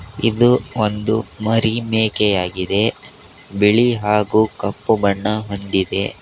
ಇದು ಒಂದು ಮರಿ ಮೇಕೆಯಾಗಿದೆ ಬಿಳಿ ಹಾಗೂ ಕಪ್ಪು ಬಣ್ಣ ಹೊಂದಿದೆ.